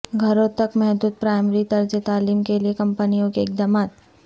گھروں تک محدود پرائمری طرز تعلیم کیلئے کمپنیوں کے اقدامات